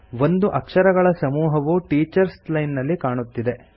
ಒಂದು ಅಕ್ಷರಗಳ ಸಮೂಹವು ಟೀಚರ್ಸ್ ಲೈನ್ ನಲ್ಲಿ ಕಾಣುತ್ತಿದೆ